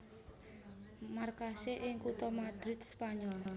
Markasé ing kutha Madrid Spanyol